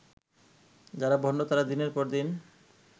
যারা ভণ্ড তারা দিনের পর দিন